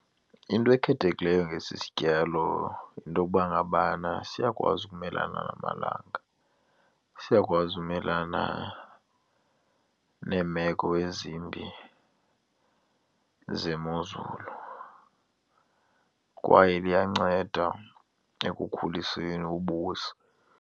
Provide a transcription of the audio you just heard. Into ekhethekileyo ngesi sityalo yinto yokuba ngabana siyakwazi ukumelana namalanga, siyakwazi ukumelana neemeko ezimbi zemozulu kwaye liyanceda ekukhuliseni ubusi.